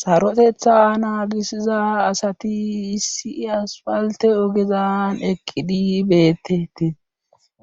Sarothetha naagisiza asati issi aspalte ogezan eqqidi beetettes